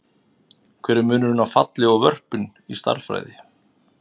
Hver er munurinn á falli og vörpun í stærðfræði?